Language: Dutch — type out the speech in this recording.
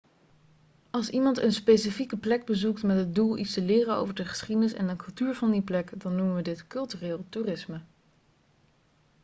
als iemand een specifieke plek bezoekt met het doel iets te leren over de geschiedenis en de cultuur van die plek dan noemen we dit cultureel toerisme